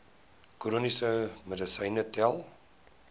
chroniese medisyne tel